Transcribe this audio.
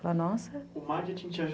O marketing te